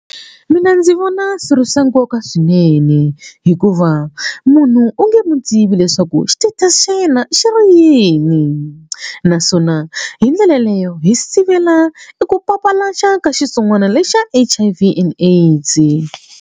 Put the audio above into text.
Mina ndzi vona swi ri swa nkoka swinene hikuva munhu o nge mu tivi leswaku xitetasi xa yena xi ri yini naswona hi ndlela yeleyo hi sivela eku papalata mhaka xitsongwana lexa H_I_V and AIDS.